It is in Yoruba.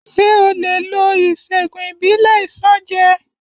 Ṣé o lè lo ìṣègùn ìbílẹ̀ Isanje?